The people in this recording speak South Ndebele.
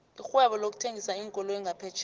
irhwebo lokuthengisa iinkoloyi ngaphetjheya